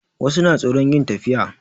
Wasu na tsoron yin tafiya